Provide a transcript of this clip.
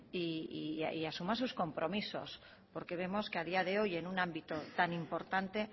y asuma sus compromisos porque vemos que a día de hoy en un ámbito tan importante